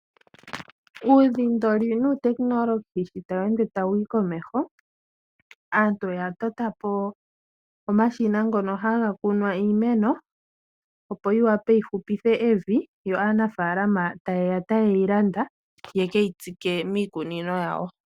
Uudhindoli nuutekinolohi sho ta weende tawuyi komeho aantu oya tota po omashina ngono haga kunwa iimeno, opo yi hupithe evi. Aanafalama oha yeya ta yeyi landa ye keyi tsike miikunino yawo.